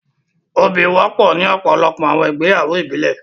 ́Óbì wọ̀pọ̀ ní ọpọlọpọ̀ awọn igbeyawo ìbílẹ̀